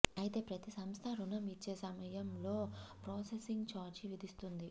అయితే ప్రతి సంస్థ రుణం ఇచ్చే సమయం లో ప్రాసెసింగ్ చార్జీ విదిస్తుంది